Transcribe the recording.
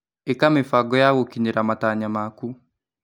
ĩka mĩbango ya gũkinyĩra matanya maku.